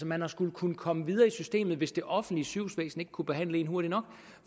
man har skullet kunne komme videre i systemet hvis det offentlige sygehusvæsen ikke kunne behandle en hurtigt nok